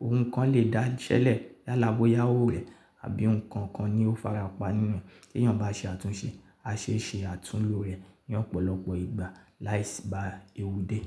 Oun kan lè dá iṣẹ́ lẹ̀, yàlá, bọ́yá owó rẹ̀ àbí nǹkan kan ni ó fara pa nínú ẹ̀. Tí èyàn bá ṣe àtúnṣe, á ṣe ń ṣe àtúnlo rẹ̀ ní ọ̀pọ̀lọpọ̀ ìgbà láìsí bá ewu dé.